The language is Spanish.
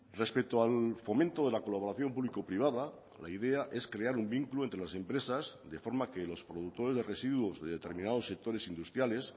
respecto al fomento de la colaboración público privada la idea es crear un vínculo entre las empresas de forma que los productores de residuos de determinados sectores industriales